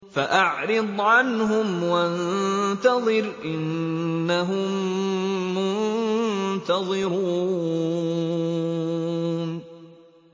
فَأَعْرِضْ عَنْهُمْ وَانتَظِرْ إِنَّهُم مُّنتَظِرُونَ